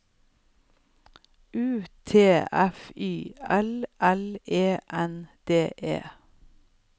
U T F Y L L E N D E